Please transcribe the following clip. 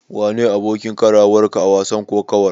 Wane ne abokin karawarka a wasan kokawar?